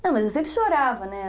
Não, mas eu sempre chorava, né?